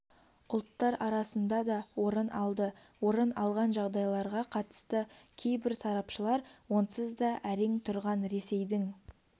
ұлттар арасында да орын алды орын алған жағдайларға қатысты кейбір сарапшылар онсызда әрең тұрған ресейдің